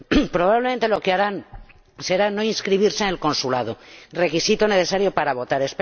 Probablemente, lo que harán será no inscribirse en el consulado, requisito necesario para votar.